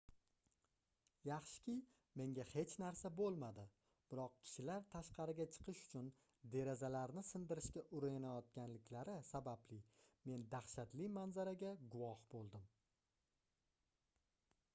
yaxshiki menga hech narsa boʻlmadi biroq kishilar tashqariga chiqish uchun derazalarni sindirishga urinayotganliklari sababli men dahshatli manzaraga guvoh boʻldim